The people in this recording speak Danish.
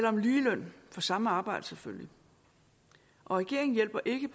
om lige løn for samme arbejde selvfølgelig og regeringen hjælper ikke